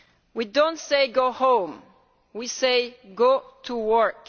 We do not say go home' we say go to work'.